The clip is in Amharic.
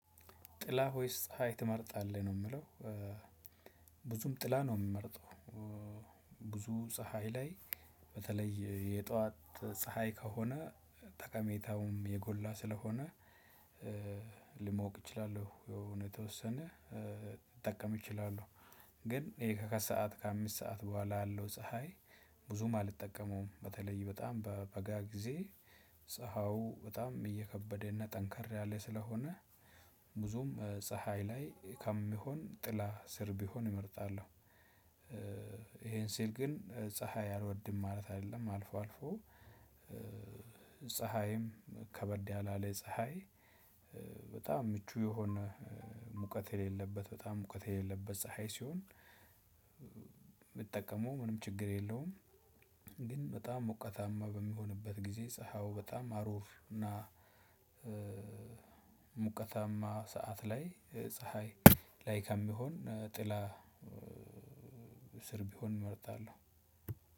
ጥላ ወይስ ፀሀይ ትመርጣለህ ነው ሚለው? ብዙም ጥላ ነው ምመርጠው። ብዙ ፀሀይ ላይ በተለይ የጠዋት ፀሀይ ከሆነ ጠቃሜታውም የጎላ ስለሆነ። ልሞቅ እችላለሁ የሆነ የተወሰነ ልጠቀም እችላለሁ። ግን ይሄ ከከሰአት ከአምስት ሰዓት በኋላ ያለው ፀሀይ ብዙም አልጠቀመውም በተለይ በጣም በበጋ ጊዜ። ፀሀዩ በጣም እየከበደና ጠንከር ያለ ስለሆነ ብዙም ፀሀይ ላይ ከምሆን ጥላ ስር ብሆን እመርጣለሁ። ይሄን ስል ግን ፀሀይ አልወድም ማለት አይደለም አልፎ አልፎ። ፀሀይም ከበድ ያላለ ፀሀይ በጣም ምቹ የሆነ ሙቀት የሌለበት በጣም ሙቀት የሌለበት ፀሀይ ሲሆን። ብጠቀመው ምንም ችግር የለውም። ግን በጣም ሞቀታማ በሚሆንበት ጊዜ ፀሀው በጣም አሩር እና ሙቀታማ ሰዓት ላይ ፀሀይ ላይ ከሚሆን ጥላ ስር ቢሆን እመርጣለሁ።